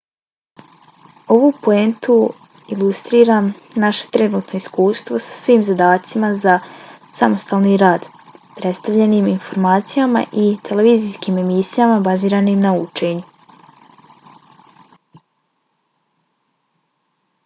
ovu poentu ilustrira naše trenutno iskustvo sa svim zadacima za samostalni rad predstavljenim informacijama i televizijskim emisijama baziranim na učenju